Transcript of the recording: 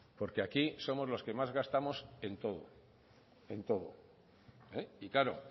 porque aquí somos los que más gastamos en todo en todo y claro